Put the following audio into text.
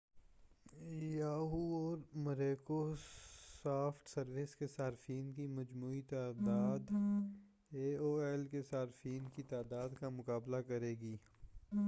Yahoo اور Microsoft service کے صارفین کی مجموعی تعداد اے او ایل کے صارفین کی تعداد کا مقابلہ کرے گی